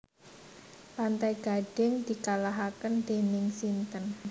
Pantai Gading dikalahaken dening sinten